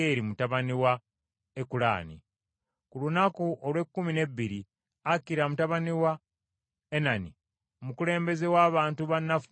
Ku lunaku olw’ekkumi n’ebbiri Akira mutabani wa Enani, omukulembeze w’abantu ba Nafutaali, yaleeta ekiweebwayo kye.